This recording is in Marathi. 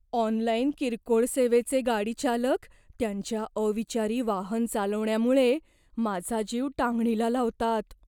ऑनलाइन किरकोळ सेवेचे गाडीचालक त्यांच्या अविचारी वाहन चालवण्यामुळे माझा जीव टांगणीला लावतात.